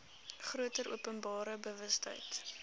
groter openbare bewustheid